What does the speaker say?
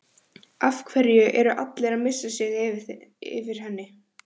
Af hverju er allir að missa sig yfir henni?